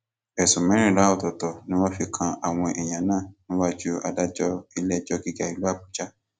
ẹsùn mẹrìnlá ọtọọtọ ni wọn fi kan àwọn èèyàn náà níwájú adájọ iléẹjọ gíga ìlú àbújá